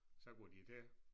Så går de til